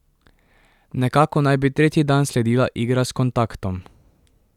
Nekako naj bi tretji dan sledila igra s kontaktom.